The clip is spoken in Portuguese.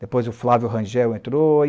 Depois o Flávio Rangel entrou.